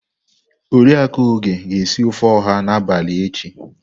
Oriakụ Oge ga-esi ofe oha n'abalị echi.